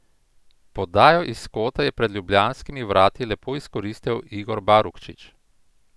Podajo iz kota je pred ljubljanskimi vrati lepo izkoristil Igor Barukčič.